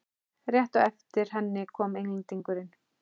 Rétt á eftir henni kom Englendingurinn.